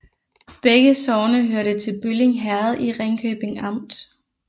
Begge sogne hørte til Bølling Herred i Ringkøbing Amt